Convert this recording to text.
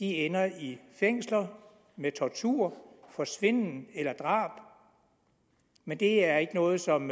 ender i fængsler med tortur forsvinden eller drab men det er ikke noget som